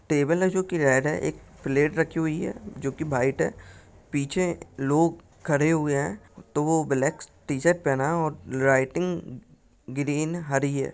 Table है जो की रेड है एक प्लेट रखी हुई है जो की व्हाइट है पीछे लोग खड़े हुए है दो ब्लॅक टी-शर्ट पहना और लाइटिंग ग्रीन हरी है।